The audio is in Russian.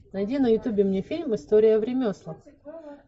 найди на ютубе мне фильм история в ремеслах